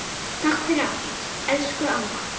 Takk fyrir allt, elsku amma.